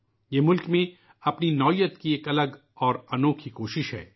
یہ ملک میں اپنی نوعیت کی ایک انوکھی کوشش ہے